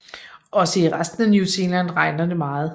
Også i resten af New Zealand regner det meget